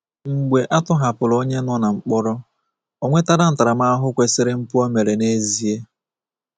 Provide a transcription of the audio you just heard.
Mgbe a tọhapụrụ onye nọ n'mkpọrọ, O nwetala ntaramahụhụ kwesịrị mpụ o mere n'ezie?